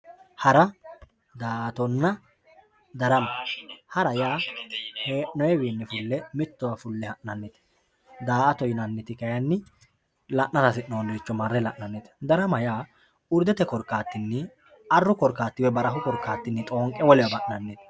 hara daa'atonna darama hara yaa hee'noyiwi fulle mittowa fulle ha'nannite daa'ato yinanniti kayinni la'anra hasi'noonniricho marre la'nannite darama yaa urdete korkaatinni arru korkaati woy barahu korkaattinni xoonqqe wolewa ha'nannite